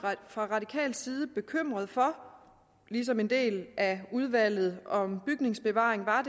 fra radikal side bekymret for ligesom en del af udvalget om bygningsbevaring var